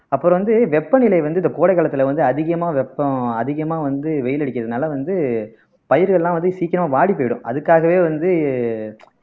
அப்புறம் வந்து வெப்பநிலை வந்து இந்த கோடை காலத்துல வந்து அதிகமா வெப்பம் அதிகமா வந்து வெயில் அடிக்கறதுனால வந்து பயிர்கள் எல்லாம் வந்து சீக்கிரமா வாடிப்போயிடும் அதுக்காகவே வந்து